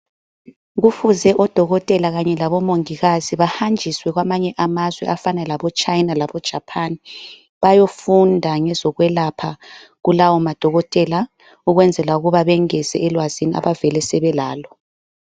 Kufuze odokotela kanye labomongikazi bahanjiswe kwamanye amazwe afana laboChina laboJapan bayofunda ngezokwelapha kulawo madokotela ukwenzela ukuba bengeze elwazini abavele sebelalo.